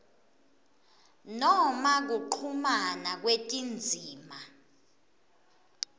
noma kuchumana kwetindzima